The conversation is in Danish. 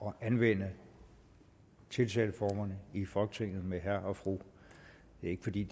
at anvende tiltaleformerne i folketinget med herre og fru det er ikke fordi